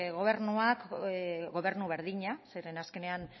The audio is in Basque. gobernuak gobernu berdinak zeren azkenean